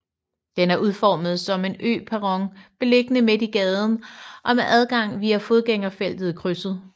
Den er udformet som en øperron beliggende midt i gaden og med adgang via fodgængerfeltet i krydset